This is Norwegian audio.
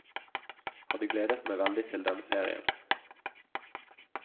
Hadde gledet meg veldig til denne ferien.